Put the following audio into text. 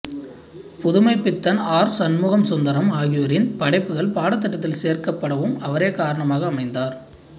Pudhumaipithan R Shanmuga Sundaram ஆகியோரின் படைப்புகள் பாடத்திட்டத்தில் சேர்க்கப்படவும் அவரே காரணமாக அமைந்தார்